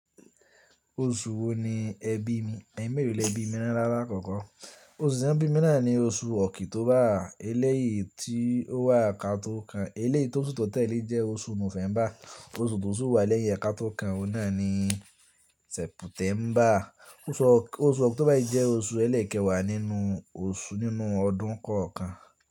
Oṣù wo ni ẹbí mi? Ẹ̀mẹ́lọ̀ ni ẹbí mi ni àlakọ́kọ́. Oṣù tí wọ́n bí mi náà ní oṣù ọkìtóbà. Eléyìí tí ó wà ká tó kan. Eléyìí tí oṣù tí ó tẹ̀lé jẹ́ oṣù November. Oṣù tó sì wà lẹ́yìn ẹ ká tó kan ohun náà ni September. Oṣù October yìí jẹ́ oṣù elékèwà nínú oṣù nínú ọdún kọ̀ọ̀kan.